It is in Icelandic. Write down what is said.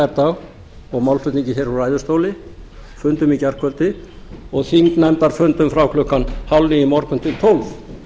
gærdag og málflutningi héðan úr ræðustóli fundum í gærkvöldi og þingnefndarfundum frá klukkan hálfníu í morgun til klukkan tólf